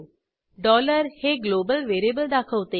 dollar हे global variable दाखवते